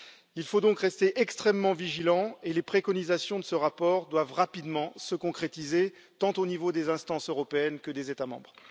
Il faut donc rester extrêmement vigilants et les préconisations de ce rapport doivent rapidement se concrétiser, tant au niveau des instances européennes que des États membres.